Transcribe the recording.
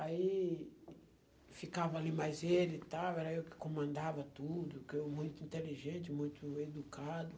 Aí, ficava ali mais ele e tal, era eu que comandava tudo, que eu muito inteligente, muito educado.